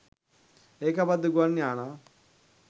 ඒකාබද්ධ ගුවන් යානා